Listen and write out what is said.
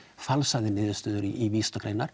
falsaði niðurstöður í vísindagreinar